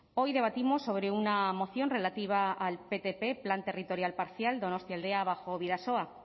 hoy debatimos sobre una moción relativa al ptp plan territorial parcial donostialdea bajo bidasoa